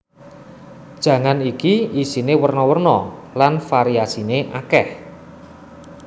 Jangan iki isine werna werna lan variasine akeh